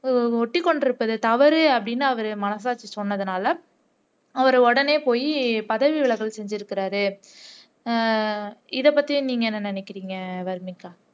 ஒட்டிகொண்டிருப்பது தவறு அப்படின்னு அவர் மனசாட்சி சொன்னதுனால அவர் உடனே போய் பதவி விலகல் செஞ்சிருக்கார் இதப்பத்தி நீங்க என்ன நினைக்கிறீங்க என்று சொன்னார்